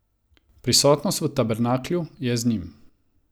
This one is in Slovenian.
Prisotnost v tabernaklju je z njim.